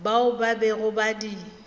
bao ba bego ba di